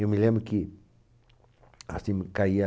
Eu me lembro que assim, caía tm